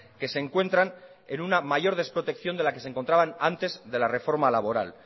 que se encuentran en una mayor desprotección de la que se encontraban antes de la reforma laboral